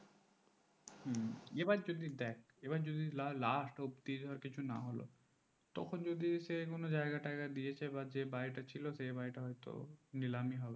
এবার যদি দেখ এবার যদি last অব্দি কিছু না হলো তখন যদি সেই কোনো যায়গা টাইগা দিয়েছে যে বাড়িটা ছিল সেই বাড়িটা হয়তো নিলামি হবে